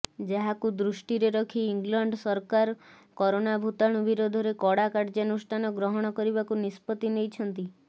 ଯାହାକୁ ଦୃଷ୍ଟିରେ ରଖି ଇଂଲଣ୍ଡ ସରକାର କୋରୋନା ଭୂତାଣୁ ବିରୋଧରେ କଡା କାର୍ଯ୍ୟାନୁଷ୍ଠାନ ଗ୍ରହଣ କରିବାକୁ ନିଷ୍ପତ୍ତି ନେଇଛନ୍ତି